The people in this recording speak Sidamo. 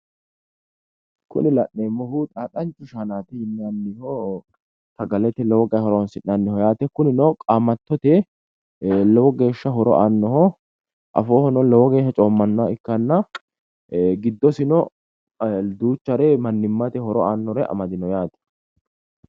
Kuni la'neemmohu xaaxxancho shaanaati yinanniho. sagalete lowo geeshsha horonsi'nanniho yaate. kunino qaamattote lowo geeshsha horo aannoho. afoohono lowo geeshsha coommannoha ikkanna giddosino duchare mannimmate horo aannore amadino yaate.